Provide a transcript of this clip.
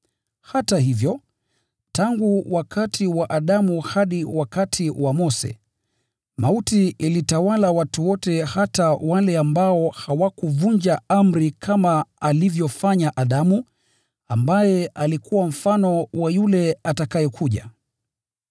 Hata hivyo, tangu wakati wa Adamu hadi wakati wa Mose, mauti ilitawala watu wote, hata wale ambao hawakutenda dhambi kwa kuvunja amri, kama alivyofanya Adamu, ambaye alikuwa mfano wa yule atakayekuja.